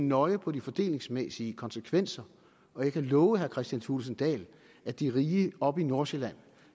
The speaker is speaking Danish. nøje på de fordelingsmæssige konsekvenser og jeg kan love herre kristian thulesen dahl at de rige oppe i nordsjælland